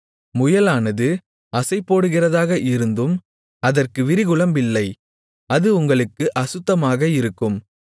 முயலானது அசைபோடுகிறதாக இருந்தும் அதற்கு விரிகுளம்பில்லை அது உங்களுக்கு அசுத்தமாக இருக்கும்